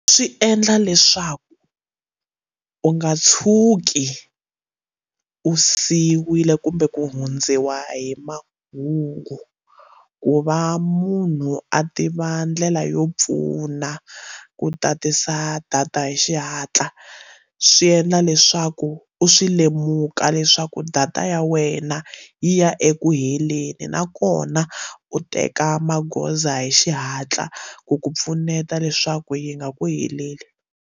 Swi endla leswaku u nga tshuki u siyiwile kumbe ku hundziwa hi mahungu ku va munhu a tiva ndlela yo pfuna ku tatisa data hi xihatla swi endla leswaku u swi lemuka leswaku data ya wena yi ya eku heleni nakona u teka magoza hi xihatla ku ku pfuneta leswaku yi nga ku heleli.